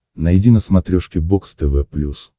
найди на смотрешке бокс тв плюс